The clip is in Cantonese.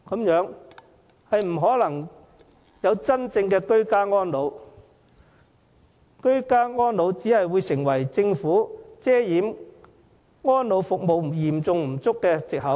如此一來，居家安老不可能真正實現，只會淪為政府遮掩安老服務嚴重不足的藉口。